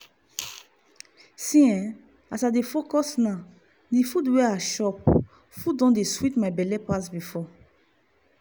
see eh as i dey focus now di food wey i chop food don dey sweet my belle pass before.